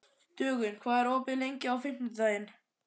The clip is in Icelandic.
Dögun, hvað er opið lengi á fimmtudaginn?